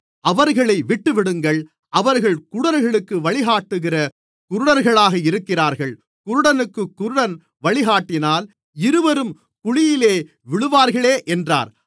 அவர்களை விட்டுவிடுங்கள் அவர்கள் குருடர்களுக்கு வழிகாட்டுகிற குருடர்களாக இருக்கிறார்கள் குருடனுக்குக் குருடன் வழிகாட்டினால் இருவரும் குழியிலே விழுவார்களே என்றார்